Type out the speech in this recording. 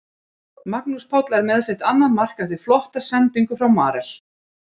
Magnús Páll með sitt annað mark eftir flotta sendingu frá Marel.